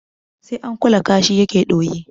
Sai an kula kashi yake ɗoyi